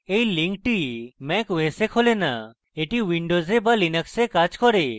এই link mac os এ খোলে না কিন্তু এটি windows এবং linux কাজ করে